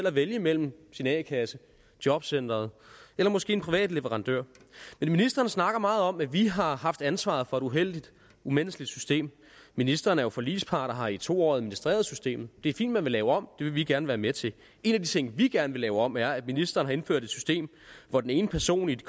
at vælge mellem sin a kasse jobcenteret og måske en privat leverandør ministeren snakker meget om at vi har haft ansvaret for et uheldigt umenneskeligt system ministeren er jo forligspart og har i to år administreret systemet det er fint man vil lave om og det vil vi gerne være med til en af de ting vi gerne vil lave om er det at ministeren har indført et system hvor den ene person i et